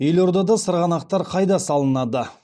елордада сырғанақтар қайда салынады